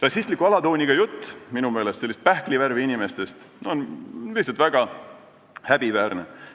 Rassistliku alatooniga jutt, minu meelest, pähklivärvi inimestest on lihtsalt väga häbiväärne.